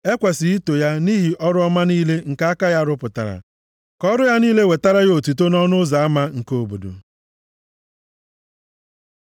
E kwesiri ito ya nʼihi ọrụ ọma niile nke aka ya rụpụtara. Ka ọrụ ya niile wetara ya otuto nʼọnụ ụzọ ama nke obodo.